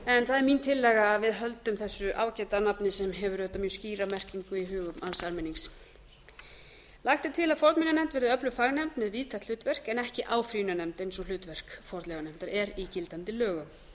en það er mín tillaga að við höldum þessu ágæta nafni sem hefur auðvitað mjög skýra merkingu í hugum alls almennings tíu lagt er til að fornminjanefnd verði öflug fagnefnd með víðtækt hlutverk en ekki áfrýjunarnefnd eins og hlutverk fornleifanefndar er í gildandi lögum ellefu